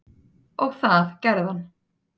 Og það gerði hann